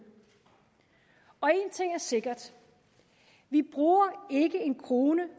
og én ting er sikker vi bruger ikke en krone